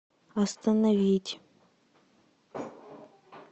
остановить